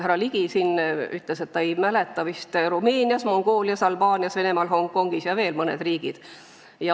Härra Ligi siin ütles, et ta ei mäleta, vist Rumeenias, Mongoolias, Albaanias, Venemaal, Hongkongis ja veel mõned riigid.